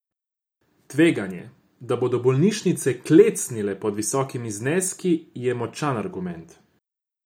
Tveganje, da bodo bolnišnice klecnile pod visokimi zneski, je močan argument.